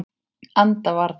Anda varla.